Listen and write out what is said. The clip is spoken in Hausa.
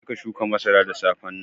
Je ka shuka masaran da safen nan.